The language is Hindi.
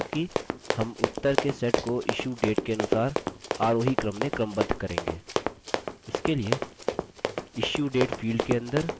मतलब कि हम उत्तर के set को issuedate के अनुसार आरोही क्रम में क्रमबद्ध करेंगे